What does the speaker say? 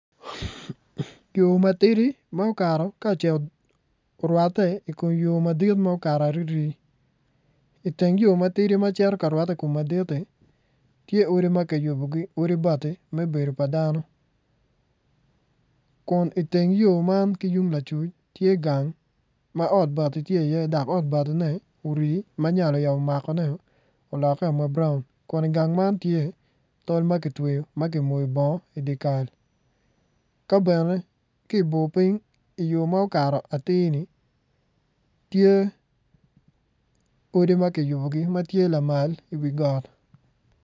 Yo matidi ka ocito orwate ikom yo madit ma ocito arii-ri iteng yo matidi macito ka rwate ikom madit-ti tye odi ma kiyubogi odi bati me bedo pa dano kun iteng yo man ki yung lacuc tye gang ma ot bati tye iye dok ot batine orii ma nyal oyabo makone olek ma brown kun igang man tye tol ma kitwoyo ma ki moyo bongo idye kal ka bene ki bor piny iyor ma okato ati-ni tye odi ma kiyubogi matye lamal iwi got